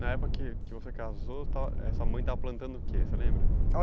Na época que que você casou, estava sua mãe estava plantando o que, você lembra?